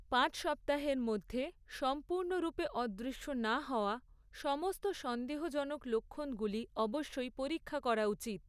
পাঁচ সপ্তাহের মধ্যে, সম্পূর্ণরূপে অদৃশ্য না হওয়া, সমস্ত সন্দেহজনক লক্ষণগুলি, অবশ্যই পরীক্ষা করা উচিত।